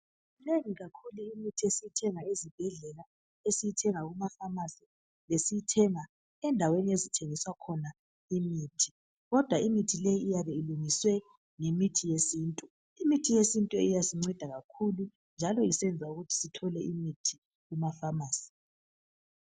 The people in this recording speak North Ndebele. Minengi kakhulu imithi esiyithenga ezibhedlela , esiyithenga kuma Famasi lesiyithenga endaweni ezithengisa khona imithi kodwa imithi leyi iyabe ilungiswe ngemithi yesintu. Imithi yesintu iyasinceda kakhulu njalo isenza ukuthi Sithole imithi kuma Famasi.